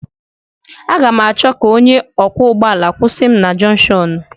A ga m achọ onye ọkwọ ụgbọ ala ka ọ kwushi m na jonshonu.